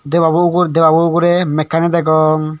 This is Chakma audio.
deba bu ugure deba bo ugure mekkani degong.